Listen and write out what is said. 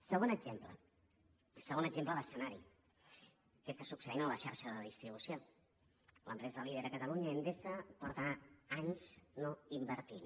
segon exemple segon exemple d’escenari què està succeint en la xarxa de distribució l’empresa líder a catalunya endesa fa anys que no inverteix